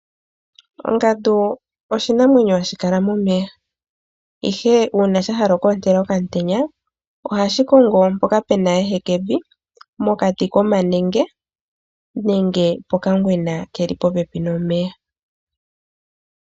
Ongandu oshinamwenyo hashi kala momeya, ihe uuna sha hala oku ontela okamutenya ohashi kongo mpoka pu na ehekevi mokati komanenge, nenge pokangwena ke li popepi nomeya.